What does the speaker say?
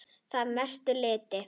Að mestu leyti